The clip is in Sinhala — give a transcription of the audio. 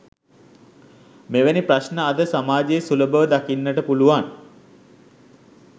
මෙවැනි ප්‍රශ්න අද සමාජයේ සුලභව දකින්නට පුළුවන්